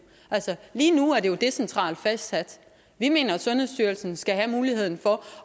altså lige nu er det jo decentralt fastsat vi mener sundhedsstyrelsen skal have muligheden for